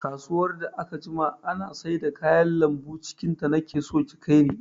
Kasuwar da aka jima ana saida kayan lambu cikin ta, nake so ki kai ni!